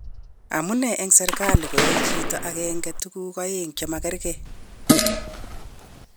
Amunee en serkalit koyoe chito agenge tuguu oeng chemakergei.?